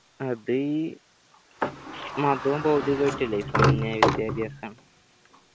അത് മതവും ഭൗതികവും ആയിട്ടില്ലേ വിദ്യാഭ്യാസം